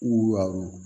W'a